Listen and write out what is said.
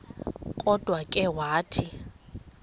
kodwa ke wathi